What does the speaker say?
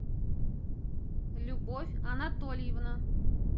любовь анатольевна